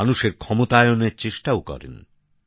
মানুষের ক্ষমতায়নের চেষ্টা করেন